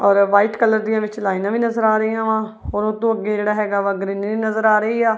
ਔਰ white colour ਦੀਆਂ ਵਿੱਚ ਲਾਈਨਾਂ ਵੀ ਨਜ਼ਰ ਆ ਰਹੀਆਂ ਵਾ ਔਰ ਉਤੋਂ ਅੱਗੇ ਜਿਹੜਾ ਹੈਗਾ ਵਾ ਗਰੀਨਰੀ ਵੀ ਨਜ਼ਰ ਆ ਰਹੀ ਆ।